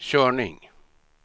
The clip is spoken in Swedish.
körning